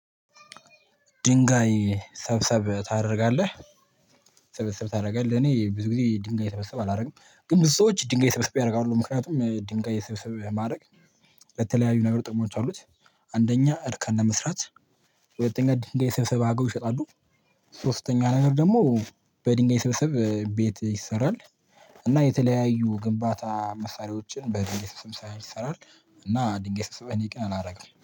ድንጋይ ሰብሰብ ታደርጋለህ? ስብስብ ታደርጋለህ? እኔ ብዙ ጊዜ ድንጋይ ስብስብ አላደርግም ግን ብዙ ሰዎች ድንጋይ ስብስብ ያደርጋሉ ምክንያቱም ድንጋይ ስበስበ ማድረግ ለተለያዩ ነገሮች ጥቅሞች አሉት። አንደኛ እርከን ለመስራት ሁለተኛ ድንጋይ ሰብስበው ይሸጣሉ። ሶስተኛ ነገር ደግሞ በድንጋይ ስብስብ ቤት ይሰራል። እና የተለያዩ ግንባታ መሳሪያዎችን በድንጋይ ስብሰባ ይሰራል። እና ድንጋይ ስብሰባ እኔ ግን አላደርግም